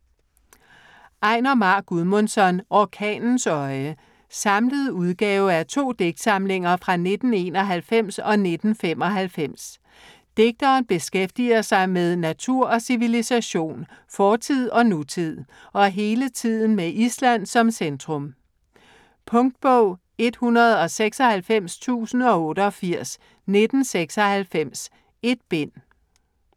Einar Már Guðmundsson: Orkanens øje Samlet udgave af to digtsamlinger fra 1991 og 1995. Digteren beskæftiger sig med natur og civilisation, fortid og nutid - og hele tiden med Island som centrum. Punktbog 196088 1996. 1 bind.